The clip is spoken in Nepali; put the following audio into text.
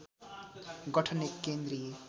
गठन एक केन्द्रीय